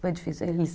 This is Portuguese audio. Foi difícil